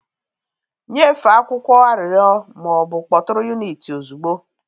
Nyefee akwụkwọ arịrịọ ma ọ bụ kpọtụrụ unit ozugbo.